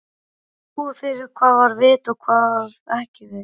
Þeir sáu fyrir hvað var vit og hvað ekki vit.